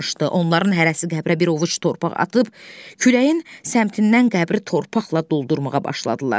Onların hərəsi qəbrə bir ovuc torpaq atıb, küləyin səmtindən qəbri torpaqla doldurmağa başladılar.